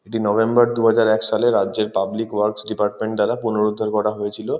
এটি নভেম্বর দুহাজার এক সালের রাজ্যের পাবলিক ওয়ার্কস ডিপার্টমেন্ট দ্বারা পুনরুদ্ধার করা হয়েছিল।